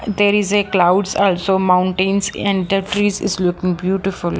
there is a clouds also mountains and the trees is looking beautiful.